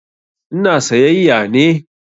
Ina sayayya ne.